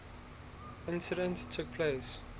incident took place